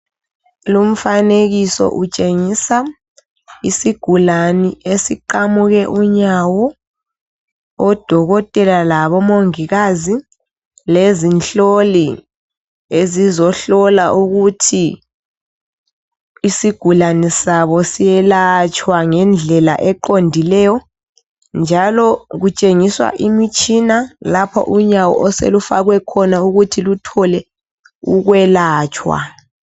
Lumfanekiso utshengisa isigulane esiqamuke unyawo odokotela labomongikazi lezinhloli ezizohlola ukuthi isigulane sabo siyelatshwa ngendlela eqondileyo njalo kutshengiswa imitshina lapho unyawo osolufakwe khona ukuthi luthole ukwelatshwa.